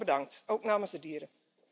Alvast bedankt, ook namens de dieren.